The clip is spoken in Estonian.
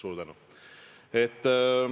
Suur tänu!